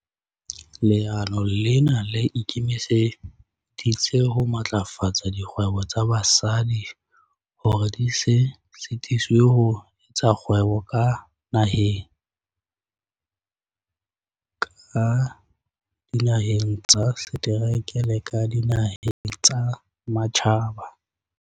"Leano lena le ikemiseditse ho matlafatsa dikgwebo tsa basadi hore di se sitiswe ho etsa kgwebo ka naheng, ka dinaheng tsa setereke le ka dinaheng tsa matjhaba."